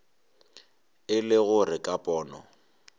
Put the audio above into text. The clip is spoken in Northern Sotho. e le gore ka pono